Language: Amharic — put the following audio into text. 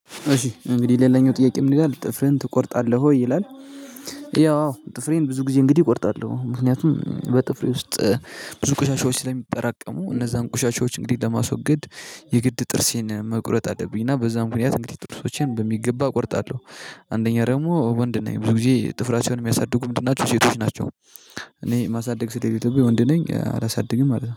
እሺ እንግዲህ ሌላኛው ጥያቄ ምን ይላል ጥፍርን ትቆርጣለህ ወይ ይላል? ያው አዎ ጥፍሬን ብዙ ጊዜ እንግዲህ እቆርጣለሁ ምክንያቱም በጥፍሬ ውስጥ ብዙ ቆሻሻዎች ስለሚጠራቀሙ እነዛን ቆሻሻዎች እንግዲህ ለማስወገድ የግድ ጥፍሬን መቁረጥ አለብኝ እና በዛ ምክንያት እንግዲህ ጥፍሮቼን በሚገባ እቆርጣለሁ። አንደኛ ደግሞ ወንድ ነኝ ብዙ ጊዜ ጥፍራቸውን የሚያሳድጉ ምንድን ናቸው? ሴቶች ናቸው። እኔ ማሳደግ ስለሌለብኝ ወንድ ነኝ አላሳድግም ማለት ነው